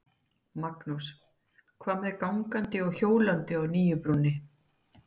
Magnús: Hvað með gangandi og hjólandi á nýju brúnni?